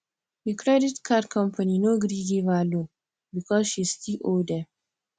the credit card company no gree give her loan because she still owe dem